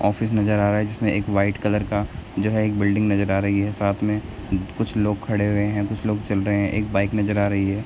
Office नज़र आ रहा है जिसमें एक व्हाइट कलर का जो है एक बिल्डिंग नज़र आ रही है साथ में कुछ लोग खड़े हुए हैं कुछ लोग चल रहे हैं एक बाइक नज़र आ रही है ।